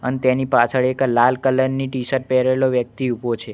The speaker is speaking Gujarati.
અને તેની પાછળ એક લાલ કલર ની ટીશર્ટ પહેરેલો વ્યક્તિ ઊભો છે.